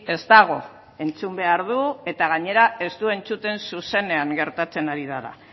ez dago entzun behar du eta gainera ez du entzuten zuzenean gertatzen ari dena